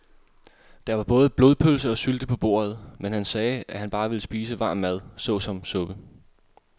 Der var både blodpølse og sylte på bordet, men han sagde, at han bare ville spise varm mad såsom suppe.